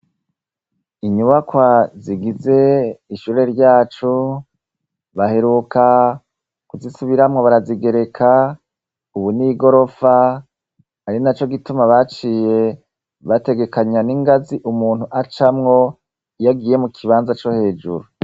Inyubakwa zigize ishure ryacu baheruka kuzisubiramwo barazigereka ubun'igorofa ari na co gituma baciye bategekanya n'ingazi umuntu acamwo iyagiye mu kibanza co hejuru.